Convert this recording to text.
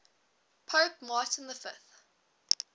pope martin v